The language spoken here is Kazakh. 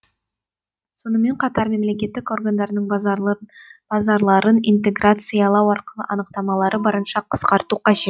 сонымен қатар мемлекеттік органдардың базарларын интеграциялау арқылы анықтамалары барынша қысқарту қажет